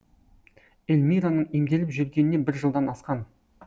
эльмираның емделіп жүргеніне бір жылдан асқан